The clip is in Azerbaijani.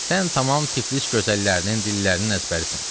Sən tamam Tiflis gözəllərinin dillərinin əzbərisən.